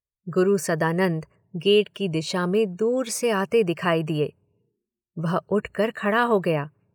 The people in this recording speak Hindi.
गुरु सदानंद गेट की दिशा में दूर से आते दिखाई दिए।